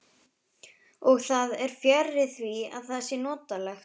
Og það er fjarri því að það sé notalegt.